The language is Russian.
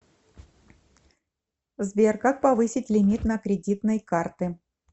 сбер как повысить лимит на кредитной карты